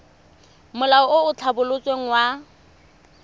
molao o o tlhabolotsweng wa